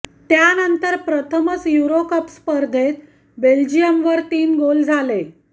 त्यानंतर प्रथमच Euro cup स्पर्धेत बेल्जियमवर तीन गोल झाले